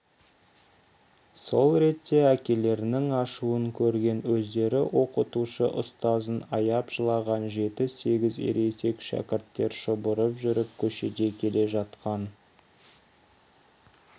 сол ретте әкелерінің ашуын көрген өздері оқытушы ұстазын аяп жылаған жеті-сегіз ересек шәкірттер шұбырып жүріп көшеде келе жатқан